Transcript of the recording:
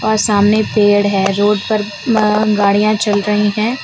सामने पेड़ है रोड पर अ गाड़ियां चल रही है।